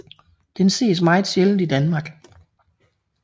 Den ses meget sjældent i Danmark